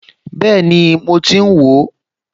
Bẹ́ẹ̀ni, mo ti ń wò ó